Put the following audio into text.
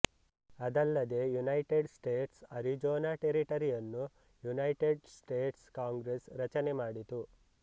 ಅದಲ್ಲದೇ United States Arizona ಟೆರಿಟರಿಯನ್ನು United States Congress ರಚನೆ ಮಾಡಿತು